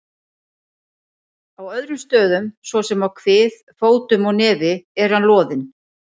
Á öðrum stöðum, svo sem á kvið, fótum og nefi er hann loðinn.